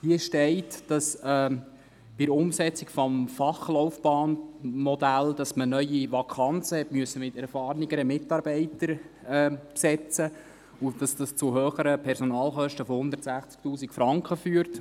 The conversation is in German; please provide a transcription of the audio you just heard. Hier steht, dass man bei der Umsetzung des Fachlaufbahn-Modells neue Vakanzen mit erfahrenen Mitarbeitern besetzen musste und dies zu höheren Personalkosten von 160 000 Franken führt.